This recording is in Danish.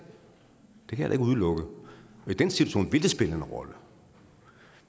det kan udelukke og i den situation vil det spille en rolle